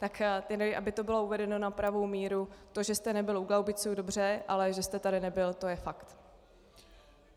Tak tedy aby to bylo uvedeno na pravou míru, to, že jste nebyl U Glaubiců, dobře, ale že jste tady nebyl, to je fakt.